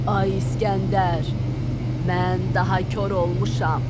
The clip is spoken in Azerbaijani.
Ay İsgəndər, mən daha kor olmuşam.